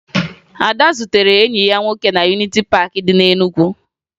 Ada zutere enyi ya nwoke na Yuniti Paakị dị na Enugu